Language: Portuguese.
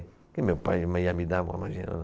Porque meu pai ia me dar, imagina.